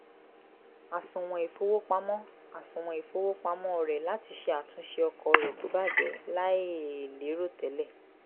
àsùwọ̀n ìfowópamọ́ àsùwọ̀n ìfowópamọ́ rẹ̀ láti ṣe àtúnse ọkọ̀ rẹ̀ tó bàjẹ́ láì lérò tẹ́lẹ̀